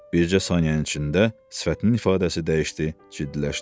Bircə saniyənin içində sifətinin ifadəsi dəyişdi, ciddiləşdi.